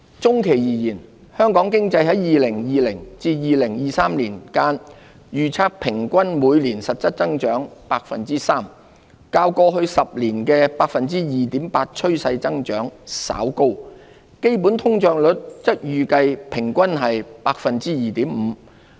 中期而言，香港經濟在2020年至2023年間，預測平均每年實質增長 3%， 較過去10年 2.8% 的趨勢增長稍高，基本通脹率則預計平均為 2.5%。